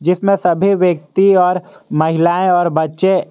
जिसमें सभी व्यक्ति और महिलाएं और बच्चे--